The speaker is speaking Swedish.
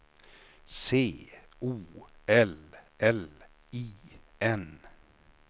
C O L L I N